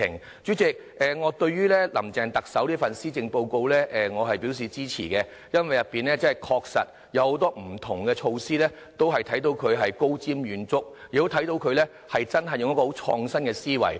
代理主席，對於特首"林鄭"這份施政報告，我是表示支持的，因為確實有很多不同的措施，可看到她是高瞻遠矚，也看到她真的有很創新的思維。